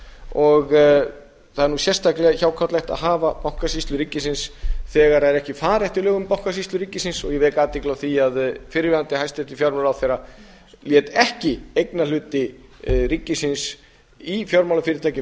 og það er sérstaklega hjákátlegt að hafa bankasýslu ríkisins þegar það er ekki farið eftir lögum um bankasýslu ríkisins og ég vek athygli á því að fyrrverandi hæstvirtur fjármálaráðherra lét ekki eignarhluti ríkisins í fjármálafyrirtækjum